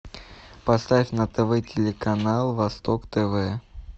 поставь на тв телеканал восток тв